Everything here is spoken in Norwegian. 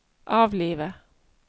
avlive